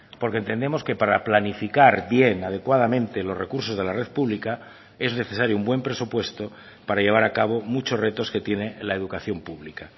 porque entendemos que para planificar bien adecuadamente los recursos de la red pública es necesario un buen presupuesto para llevar a cabo muchos retos que tiene la educación pública